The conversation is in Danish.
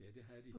Ja det havde de